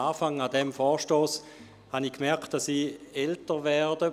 An diesem Vorstoss merkte ich, dass ich älter werde.